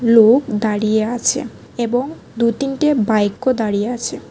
লোক দাঁড়িয়ে আছে এবং দু তিনটে বাইকও দাঁড়িয়ে আছে।